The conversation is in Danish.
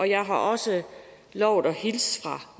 jeg har også lovet at hilse fra